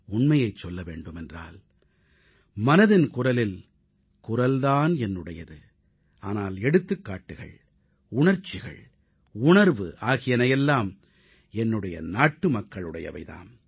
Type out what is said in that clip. உண்மையைச் சொல்ல வேண்டுமென்றால் மனதின் குரலில் குரல் தான் என்னுடையது ஆனால் எடுத்துக்காட்டுகள் உணர்ச்சிகள் உணர்வு ஆகியன எல்லாம் என்னுடைய நாட்டுமக்களுடையவை தாம்